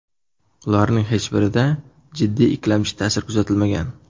Ularning hech birida jiddiy ikkilamchi ta’sir kuzatilmagan.